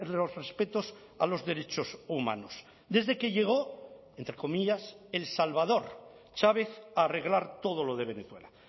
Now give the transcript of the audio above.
los respetos a los derechos humanos desde que llegó entre comillas el salvador chávez a arreglar todo lo de venezuela